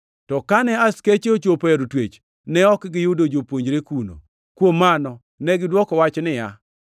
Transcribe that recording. To kane askeche ochopo e od twech, ne ok giyudo jopuonjre kuno. Kuom mano negidwoko wach niya,